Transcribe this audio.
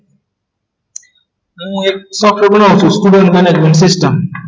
હું એક સોફ્ટવેર બનાવું છું